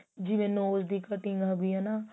ਜਿਵੇਂ nose ਦੀ cutting ਬੀ ਹਨਾ